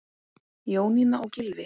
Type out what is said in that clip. Jónína og Gylfi.